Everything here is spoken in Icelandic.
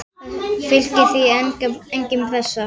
Það fylgir því engin pressa.